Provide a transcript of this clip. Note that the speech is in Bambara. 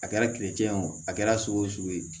A kɛra a kɛra sugu o sugu ye